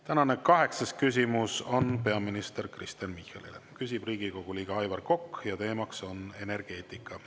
Tänane kaheksas küsimus on peaminister Kristen Michalile, küsib Riigikogu liige Aivar Kokk ja teema on energeetika.